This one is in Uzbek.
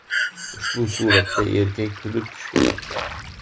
Ushbu suratda erkak kulib tushgan.